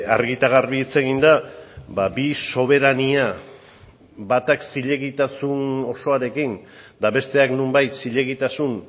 argi eta garbi hitz egin da bi soberania batak zilegitasun osoarekin eta besteak nonbait zilegitasun